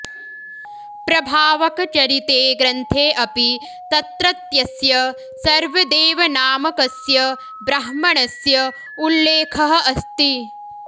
प्रभावकचरिते ग्रन्थे अपि तत्रत्यस्य सर्वदेवनामकस्य ब्राह्मणस्य उल्लेखः अस्ति